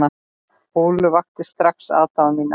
Ólöf vakti strax aðdáun mína.